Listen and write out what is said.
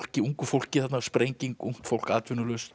ungu fólki þarna ungt fólk atvinnulaust